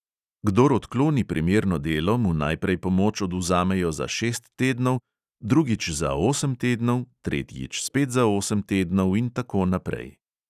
Kdor odkloni primerno delo, mu najprej pomoč odvzamejo za šest tednov, drugič za osem tednov, tretjič spet za osem tednov in tako naprej.